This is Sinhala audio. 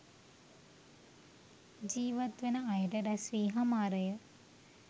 ජීිවත් වන අයට රැස්වී හමාරය.